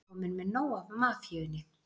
Kominn með nóg af mafíunni